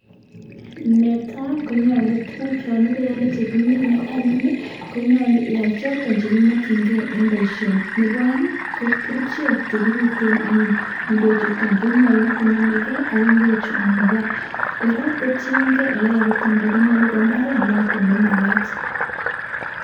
Netai konyalu tuguk chanibeiyale chekimine anyun konyalu iyal chaton chekimakin gei en baishoni Nebo aeng ko kerchek chekibiten anyun ingwek chuton konyalu konamgei ak ingwek amabar kora kotiyengei yekakitemda imbaret noton nemakat